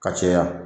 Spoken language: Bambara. Ka caya